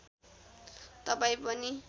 तपाईँ पनि